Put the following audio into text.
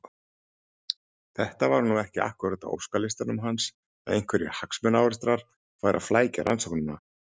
Þetta var nú ekki akkúrat á óskalistanum hans að einhverjir hagsmunaárekstrar færu að flækja rannsóknina.